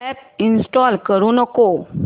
app install करू नको